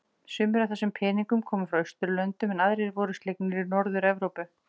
Sumir af þessum peningnum koma frá Austurlöndum en aðrir voru slegnir í Norður-Evrópu.